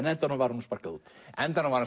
endanum var honum sparkað út á endanum var